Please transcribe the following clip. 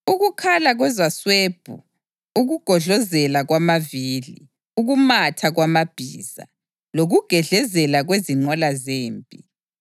Ukukhala kwezaswebhu, ukugodlozela kwamavili, ukumatha kwamabhiza lokugedlezela kwezinqola zempi!